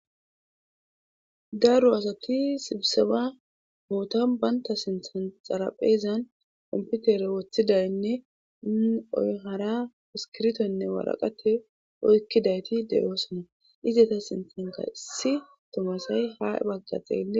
daro asati sibiseba bootan baynta sinthan xarapheezan komputere woththidaynne oy hara iskirtonne waraqate oykkidayti de'oosona izeta sinthanka issi tumu asay ha bagga xeelles